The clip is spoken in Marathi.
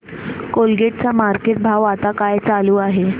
कोलगेट चा मार्केट भाव आता काय चालू आहे